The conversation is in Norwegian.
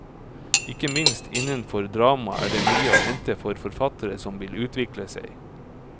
Ikke minst innenfor drama er det mye å hente for forfattere som vil utvikle seg.